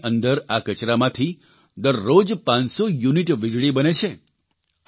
પ્લાન્ટની અંદર આ કચરામાંથી દરરોજ 500 યુનિટ વીજળી બને છે